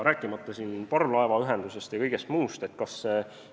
Rääkimata parvlaevaühendusest ja kõigest muust, transport on tervik.